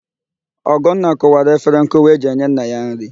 Ọgọnna kụwara efere nkụwa e ji enye nna ya nrị.